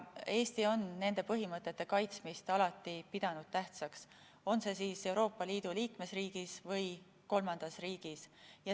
Eesti on nende põhimõtete kaitsmist alati pidanud tähtsaks, on see Euroopa Liidu liikmesriigis või kolmandas riigis.